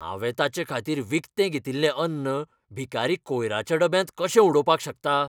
हांवें ताचेखातीर विकतें घेतिल्लें अन्न भिकारी कोयराच्या डब्यांत कशें उडोवपाक शकता?